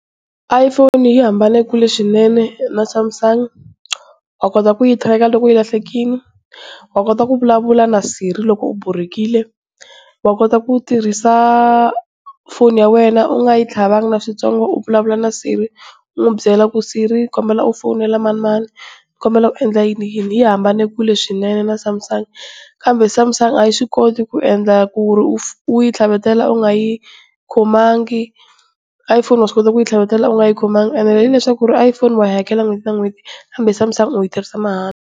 iPhone yi hambane kule swinene na Samsung, wa kota ku yi tracker loko yi lahlekile, wa kota ku vulavula na Siri loko u borhekile, wa kota ku tirhisa foni ya wena u nga yi tlhavangi na switsongo u vulavula na Siri, u n'wi byela ku Siri ni kombela u fonela manimani nikombela u endla yini yini, yi hambane kule swinene na Samsung. Kambe Samsung a yi swi koti kuendla ku ri u yi tlhavetela u nga yi khomangi Iphone wa swi kota ku yi tlhavetela u nga yi khomangi and hileswaku iPhone wa yi hakela n'hweti na n'hweti kambe Samsung u yi tirhisa mahala.